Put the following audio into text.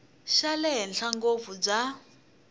xa le henhla ngopfu bya